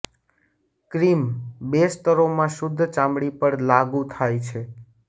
cream બે સ્તરોમાં શુદ્ધ ચામડી પર લાગુ થાય છે